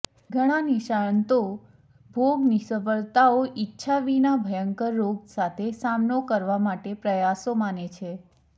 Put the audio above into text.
ઘણા નિષ્ણાતો ભોગ નિષ્ફળતાઓ ઇચ્છા વિના ભયંકર રોગ સાથે સામનો કરવા માટે પ્રયાસો માને છે